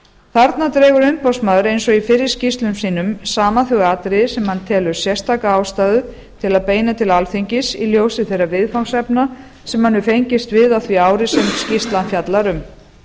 þarna dregur umboðsmaður eins og í fyrri skýrslum sínum saman þau atriði sem hann telur sérstaka ástæðu til að beina til alþingis í ljósi þeirra viðfangsefna sem hann hefur fengist við á því ári sem skýrslan fjallar um